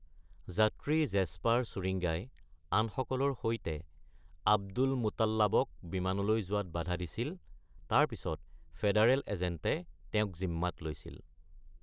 যাত্ৰী জেছপাৰ চুৰিঙ্গাই আনসকলৰ সৈতে আব্দুলমুতাল্লাবক বিমানলৈ যোৱাত বাধা দিছিল তাৰ পিছত ফেডাৰেল এজেণ্টে তেওঁক জিম্মাত লৈছিল।